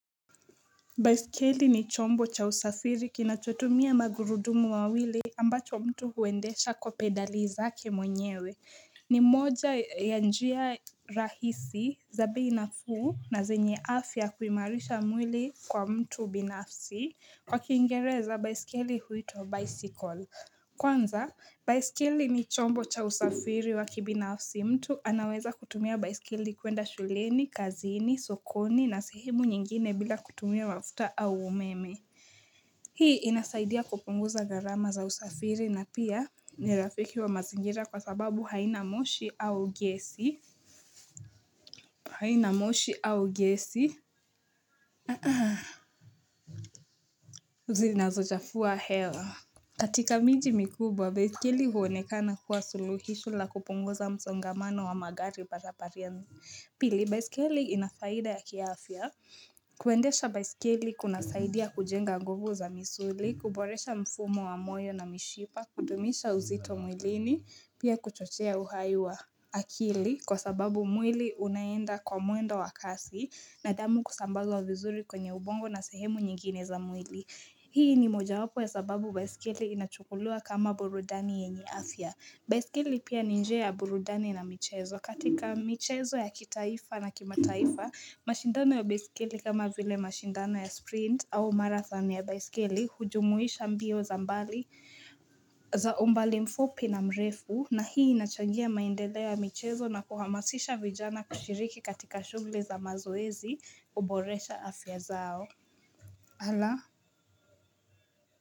Baisikeli ni chombo cha usafiri kinachotumia magurudumu mawili ambacho mtu huwendesha kwa pedali zake mwenyewe ni moja ya njia rahisi za bei nafuu na zenye afya kuimarisha mwili kwa mtu binafsi kwa kiingereza baisikeli huitwa bicycle Kwanza, baisikeli ni chombo cha usafiri wa kibinafsi mtu anaweza kutumia baisikeli kuenda shuleni, kazini, sokoni na sehemu nyingine bila kutumia mafuta au umeme Hii inasaidia kupunguza gharama za usafiri na pia ni rafiki wa mazingira kwa sababu haina moshi au gesi haina moshi au gesi Zinazochafua hewa katika miji mikubwa, baiskeli huonekana kuwa suluhisho la kupunguza msongamano wa magari barabarani. Pili, baiskeli inafaida ya kiafya. Kuendesha baiskeli kuna saidia kujenga nguvu za misuli, kuboresha mfumo wa moyo na mishipa, kudumisha uzito mwilini, pia kuchochea uhai wa akili. Kwa sababu mwili unaenda kwa mwendo wa kasi na damu kusambazwa vizuri kwenye ubongo na sehemu nyingine za mwili. Hii ni moja wapo ya sababu baisikeli inachukulia kama burudani yenye afya. Baisikeli pia ni njia ya burudani na michezo katika michezo ya kitaifa na kimataifa. Mashindano ya baisikeli kama vile mashindano ya sprint au marathon ya baisikeli hujumuisha mbio za mbali mfupi na mrefu. Na hii inachangia maendeleo ya michezo na kuhamasisha vijana kushiriki katika shughuli za mazoezi huboresha afya zao. Ala.